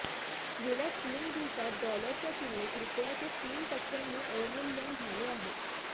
गेल्या तीन दिवसात डॉलरच्या तुलनेत रुपयाचे तीन टक्क्यांनी अवमूल्यन झाले आहे